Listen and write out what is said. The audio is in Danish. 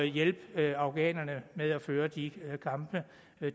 hjælpe afghanerne med at føre de kampe